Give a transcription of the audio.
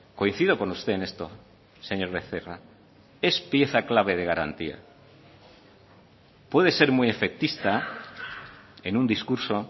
coincido con usted en esto señor becerra es pieza clave de garantía puede ser muy efectista en un discurso